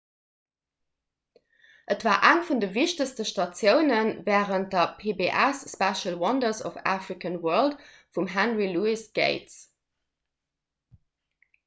et war eng vun de wichtegste statioune wärend de pbs special wonders of the african world vum henry louis gates